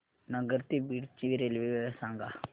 नगर ते बीड ची रेल्वे वेळ सांगा